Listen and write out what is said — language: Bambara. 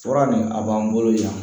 Fura nin a b'an bolo yan